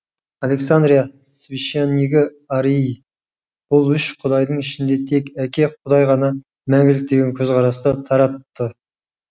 александрия священнигі арий бұл үш құдайдың ішінде тек әке құдай ғана мәңгілік деген көзқарасты таратты